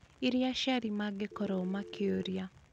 iria aciari mangĩkorũo makĩũria.